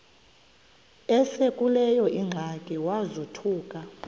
esekuleyo ingxaki wazothuka